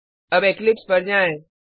अब इक्लिप्स पर जाएँ